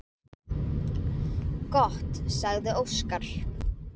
Gott, sagði Óskar.